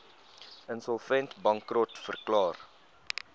insolvent bankrot verklaar